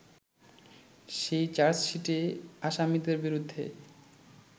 সেই চার্জশিটে আসামীদের বিরুদ্ধে